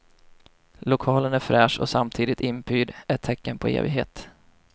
Lokalen är fräsch och samtidigt inpyrd, ett tecken på evighet.